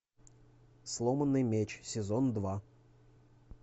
сломанный меч сезон два